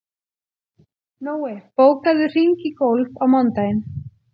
Nói, bókaðu hring í golf á mánudaginn.